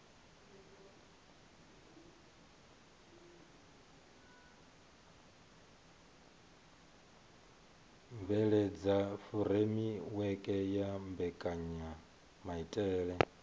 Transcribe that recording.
bveledza furemiweke ya mbekanyamaitele a